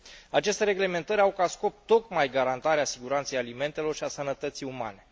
Aceste reglementări au ca scop tocmai garantarea siguranței alimentelor și a sănătății umane.